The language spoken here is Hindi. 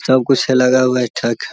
सब कुछ है लगा हुआ है ठक।